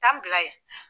Taa bila yen